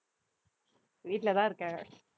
வீட்ல தான் இருக்கேன்